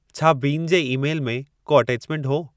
छा बीन जे ई-मेल में को अटैचमेंटु हो